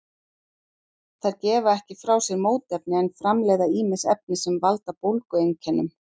Þær gefa ekki frá sér mótefni en framleiða ýmis efni sem valda bólgueinkennum.